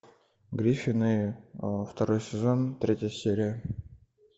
гриффины второй сезон третья серия